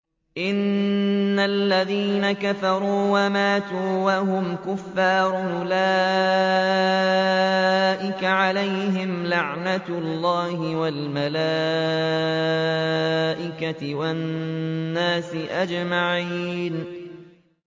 إِنَّ الَّذِينَ كَفَرُوا وَمَاتُوا وَهُمْ كُفَّارٌ أُولَٰئِكَ عَلَيْهِمْ لَعْنَةُ اللَّهِ وَالْمَلَائِكَةِ وَالنَّاسِ أَجْمَعِينَ